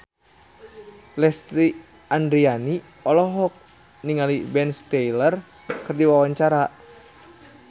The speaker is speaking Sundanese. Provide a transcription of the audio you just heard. Lesti Andryani olohok ningali Ben Stiller keur diwawancara